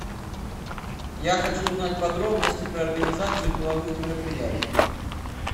я хочу узнать подробности про организацию деловых мероприятий